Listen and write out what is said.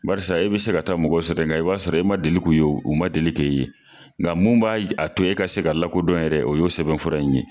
Barisa e bi se ka taa mɔgɔ sɔrɔ yen nka, i b'a sɔrɔ, e ma deli kun ye, u ma deli k'e ye nka, mun b'a to, e ka se ka lakɔdɔn yɛrɛ, o ye o sɛbɛn fura in ye.